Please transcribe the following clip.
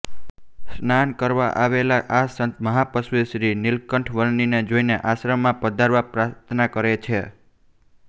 સ્નાન કરવા આવેલા આ સંત મહાતપસ્વી શ્રીનિલકંઠ વર્ણીને જોઇને આશ્રમમાં પધારવા પ્રાર્થના કરે છે